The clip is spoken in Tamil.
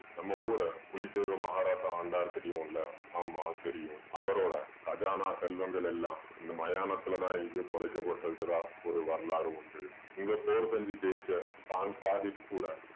நம்ம ஊரை புலித்தேவர் மகாராசா ஆண்டாரு தெரியும்ல ஆமாம் தெரியும். அவரோட கஜானா செல்வங்களெல்லாம் இந்த மயானத்துல தான் எங்கயோ புதைக்கப்பட்டிருக்கிறதா ஒரு வரலாறு உண்டு. இந்த போர் செஞ்சி ஜெயிச்ச கூட